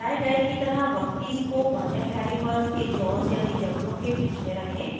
दर्शाये गए की तरह वर्कपीस को वर्नियर कैलिपर के जॉज़ यानि जबड़ों के बीच में रखें